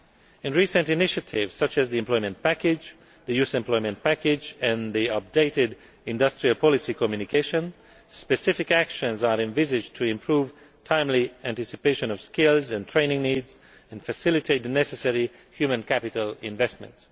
In recent initiatives, such as the Employment Package, the Youth Employment Package and the updated Industrial Policy Communication, specification actions are envisaged to improve timely anticipation of skills and training needs and facilitate the necessary human capital investment.